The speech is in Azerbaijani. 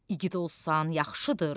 İgid olsan, yaxşıdır.